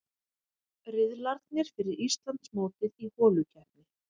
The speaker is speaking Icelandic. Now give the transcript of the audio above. Riðlarnir fyrir Íslandsmótið í holukeppni